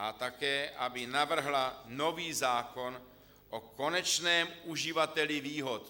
A také aby navrhla nový zákon o konečném uživateli výhod.